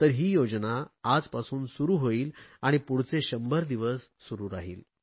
ही योजना आजपासून सुरु होईल आणि पुढचे 100 दिवस सुरु राहिल